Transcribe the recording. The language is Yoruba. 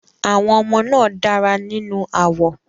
Àwọn ọmọ náà dára nínú àwọ̀.